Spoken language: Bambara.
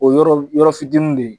O yɔrɔl yɔrɔ fitinin de ye